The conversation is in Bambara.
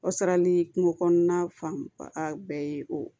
Wasarali kungo kɔnɔna fan ba bɛɛ ye o